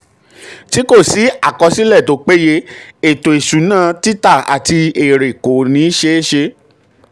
tí kò sí àkọsílẹ̀ tó péye ètò ìṣúná títà àti èrè um kò um kò ní ṣe um é ṣe.